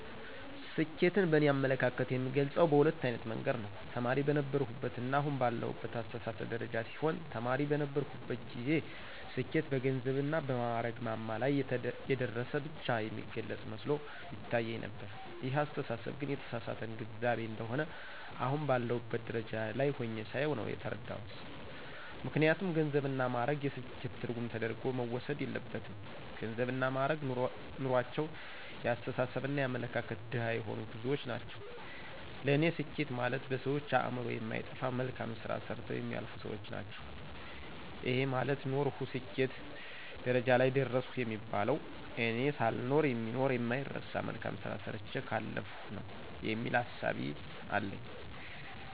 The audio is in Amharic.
ስኬትን በእኔ አመለካከት የምገልጸው በሁለት አይነት መንገድ ነው። ተማሪ በነበርሁበትና አሁን ባለሁበት አስተሳሰብ ደረጃ ሲሆን ተማሪ በነበርሁበት ጊዜ ስኬት በገንዘብና በማእረግ ማማ ላይ የደረሰ ብቻ የሚገልጽ መስሎ ይታየኝ ነበር ይሄ አስተሳሰብ ግን የተሳሳተ ግንዛቤ እንደሆነ አሁን ባለሁበት ደረጃ ላይ ሁኘ ሳየው ነው የተረዳሁት። ምክንያቱም ገንዘብና ማእረግ የስኬት ትርጉም ተደርጎ መወሰድ የለበትም ገንዘብና ማእረግ ኑሮአቸው የአስተሳሰብና የአመለካከት ድሀ የሆኑ ብዙዎች ናቸው ለኔ ስኬት ማለት በሰዎች አእምሮ የማይጠፋ መልካም ስራ ሰርተው የሚያልፉ ሰዎች ናቸው። ይሄ ማለት ኖርሁ ስኬት ደረጃ ላይ ደረሰሁ የሚባለው እኔ ሳልኖር የሚኖር የማይረሳ መልካም ስራ ሰርቸ ካለፍሁ ነው የሚል እሳቤ አለኝ።